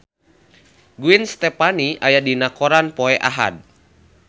Gwen Stefani aya dina koran poe Ahad